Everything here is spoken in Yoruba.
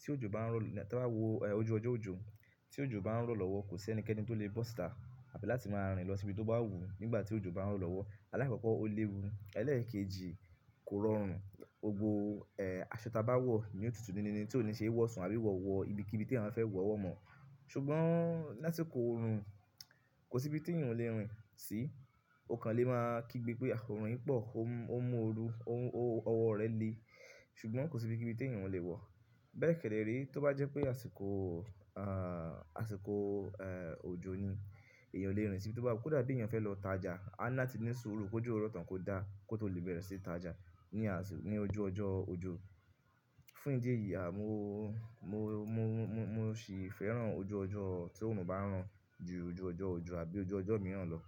tí òjò bá ń rọ̀ lọ tí wọ́n bá wò ojú ọjọ́ òjò, tí òjò bá ń rọ̀ lọ́wọ́ kò sí ẹnikẹ́ni tó le bọ́ṣà àbí láti máa rìn lọ síbi tó bá wù ú nígbà tí òjò bá ń rọ̀ lọ́wọ́. Alákòókò o léwu, ẹlẹ́ẹ̀kejì kò rọrùn. Òògbọ̀ aṣọ tí a bá wọ̀ yóò tutù níní ni tí ò ní ṣe é wọ̀sàn àbí wọ̀ wọ ibikíbi tí àwọn fẹ́ wọ̀ ọ́ mọ̀. Ṣùgbọ́n lásìkò òòrùn kò sí ibi tí èèyàn lè rìn sí. O kan lè máa kígbe pé aṣọ òòrùn yìí pọ̀, ó mú ooru, ọwọ́ rẹ̀ le. Ṣùgbọ́n kò sí ibikíbi tí èèyàn lè wọ̀. Bẹ́ẹ̀ kéré rí tí ó bá jẹ́ pé àsìkò, à àsìkò òjò ni, èèyàn o lè rìn sí ibi tó bá wù ú. Kódà bí èèyàn fẹ́ lọ tajà, a náà ti ní suru kòjú rọ̀ tán kó dà á kó tó lè bẹ̀rẹ̀ sí tajà ní àsìkò ní ojú ọjọ́ òjò. Fún ìdí èyí, a mo mo mo mo mo sì fẹ́ràn ojú ọjọ́ tí òòrùn bá ń ràn ju ojú ọjọ́ òjò àbí ojú ọjọ́ mìíràn lọ.